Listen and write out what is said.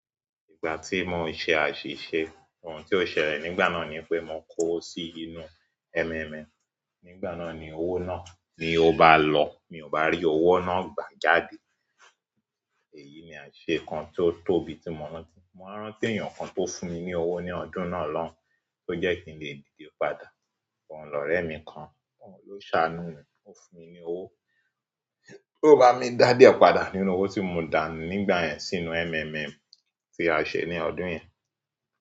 Ìgbà tí mo ṣe àṣìṣe, ohun tí ó ṣẹlẹ̀ nígbà náà ni pé mo kó sí inú MMM, nígbà náà ni owó náà ni ó bá lọ, mi ò bá rí owó náà gbà jáde. Èyí ni àṣẹ nǹkan tí ó tóbi tí mo rántí. Mo rántí ènìyàn kan tó fún mi ní owó ní ọdún náà lọ́hun tó jẹ́ kí n lè dìde padà. Òun lọ̀rẹ́ mi kan, òun ló ṣàánú mi, ó fún mi ní owó, tó bá mi dádè ọ padà nínú owó tí mo dànù nígbà yẹn sínú MMM tí a ṣe ní ọdún yẹn.